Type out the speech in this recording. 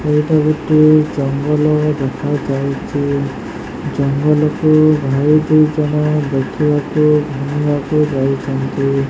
ଏଟା ଗୋଟେ ଜଙ୍ଗଲ ଦେଖା ଯାଉଛି ଜଙ୍ଗଲ କୁ ଭାଇ ଦୁଇ ଜଣ ଦେଖି ବାକୁ ଯାଉଛନ୍ତି।